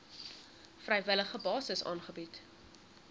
vrywillige basis aangebied